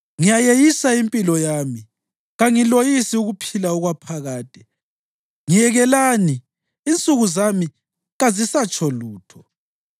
Ngiyayeyisa impilo yami; kangiloyisi ukuphila okwaphakade. Ngiyekelani; insuku zami kazisatsho lutho.